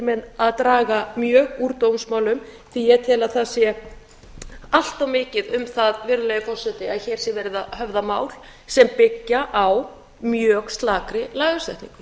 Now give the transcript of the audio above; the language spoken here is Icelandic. með að draga mjög úr dómsmálum því að ég tel að það sé allt of mikið um það virðulegi forseti að hér sé verið að höfða mál sem byggja á mjög slakri lagasetningu